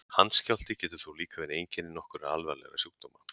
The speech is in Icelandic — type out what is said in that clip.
Handskjálfti getur þó líka verið einkenni nokkurra alvarlegra sjúkdóma.